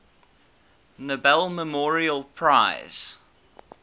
nobel memorial prize